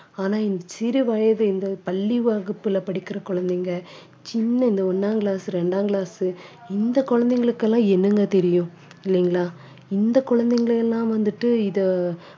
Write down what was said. ஆனா இந்த சிறு வயது இந்த பள்ளி வகுப்புல படிக்கிற குழந்தைங்க சின்ன இந்த ஒண்ணாம் class ரெண்டாம் class இந்த குழந்தைகளுக்கு எல்லாம் என்னங்க தெரியும் இல்லைங்களா இந்த குழந்தைகளை எல்லாம் வந்துட்டு இதை